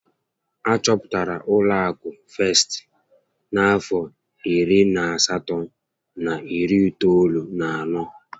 Achọpụtara ụlọ akụ Festị n'afọ iri na asatọ na iri itoolu na anọ